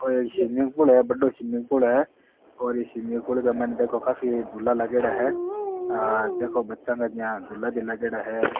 ओ एक swimming pool है बड़ो स्विमिंग पूल है और ई स्विमिंग पूल के मायने देखो काफी झूला लागेड़ा है ह देखो बच्चा का जिया झूला भी लागेड़ा है।